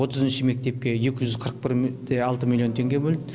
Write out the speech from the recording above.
отызыншы мектепке екі жүз қырық алты миллион теңге бөлді